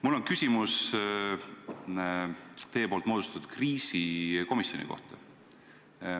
Mul on küsimus teie moodustatud kriisikomisjoni kohta.